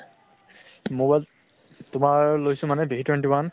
mobile তোমাৰ লৈছো মানে v twenty one